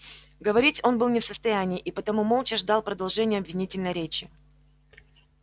говорить он был не в состоянии и потому молча ждал продолжения обвинительной речи